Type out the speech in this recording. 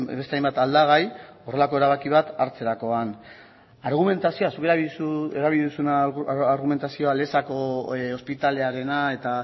beste hainbat aldagai horrelako erabaki bat hartzerakoan argumentazioa zuk erabili duzun argumentazioa lezako ospitalearena eta